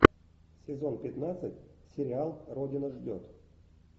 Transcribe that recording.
сезон пятнадцать сериал родина ждет